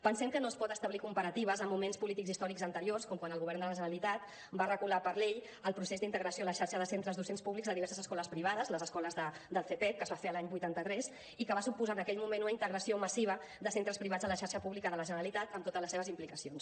pensem que no es poden establir comparatives amb moments polítics i històrics anteriors com quan el govern de la generalitat va regular per llei el procés d’integració a la xarxa de centres docents públics de diverses escoles privades les escoles del cepepc que es va fer l’any vuitanta tres i que va suposar en aquell moment una integració massiva de centres privats a la xarxa pública de la generalitat amb totes les seves implicacions